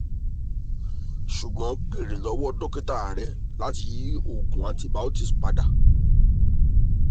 ṣugbọn beere lọwọ dokita rẹ lati yi oogun antibiotics pada